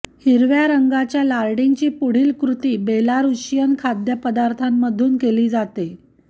हिरव्या रंगाच्या लार्डिंगची पुढील कृती बेलारूशियन खाद्यपदार्थांमधून केली जाते